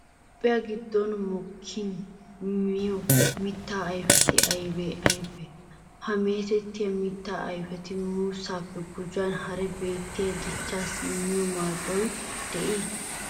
Toophphiya giddon mokkiyanne miyo mittaa ayfeti aybee aybee? Ha meetettiya mittaa ayfeti muussaappe gujuwan hara biittee dichchaassi immiyo maadoy de'ii?